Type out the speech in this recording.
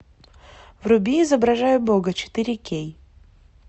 вруби изображая бога четыре кей